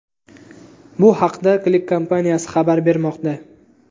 Bu haqda CLICK kompaniyasi xabar bermoqda .